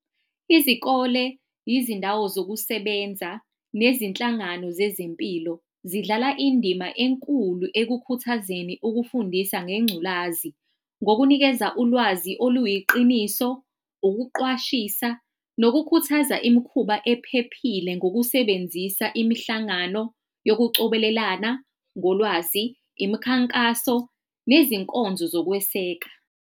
Izikole, izindawo zokusebenza nezinhlangano zezempilo zidlala indima enkulu ekukhathazekeni ukufundisa ngengculazi. Ngokunikeza ulwazi oluyiqiniso, ukuqwashisa nokukhuthaza imikhuba ephephile ngokusebenzisa imihlangano yokucobelelana ngolwazi, imikhankaso lwezinkonzo zokweseka.